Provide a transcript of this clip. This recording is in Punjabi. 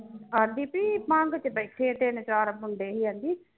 ਆਂਦੀ ਬਈ ਭੰਗ ਵਿਚ ਬੈਠੇ ਤਿੰਨ ਚਾਰ ਮੁੰਡੇ ਹੀ ਆਂਦੀ